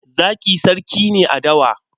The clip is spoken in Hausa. Zaki sarki ne a dawa.